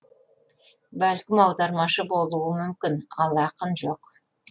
бәлкім аудармашы болуы мүмкін ал ақын жоқ